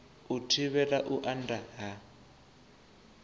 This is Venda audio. u thivhela u anda ha